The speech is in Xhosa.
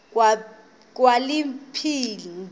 kwaphilingile